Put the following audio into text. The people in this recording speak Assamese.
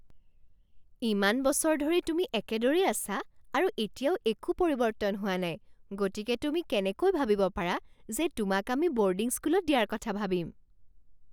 ইমান বছৰ ধৰি তুমি একেদৰেই আছা আৰু এতিয়াও একো পৰিৱৰ্তন হোৱা নাই গতিকে তুমি কেনেকৈ ভাবিব পাৰা যে তোমাক আমি বৰ্ডিং স্কুলত দিয়াৰ কথা ভাবিম?